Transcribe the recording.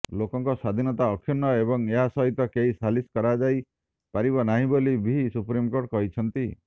ଲୋକଙ୍କ ସ୍ୱାଧୀନତା ଅକ୍ଷୁର୍ଣ୍ଣ ଏବଂ ଏହା ସହିତ କେହି ସାଲିସ କରାଯାଇପାରିବ ନାହିଁ ବୋଲି ବି ସୁପ୍ରିମକୋର୍ଟ କହିଛନ୍ତି